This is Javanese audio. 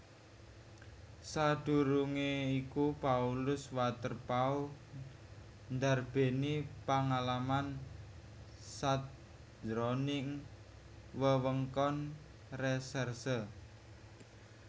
Sadurungé iku Paulus Waterpauw ndarbèni pangalaman sajroning wewengkon resèrse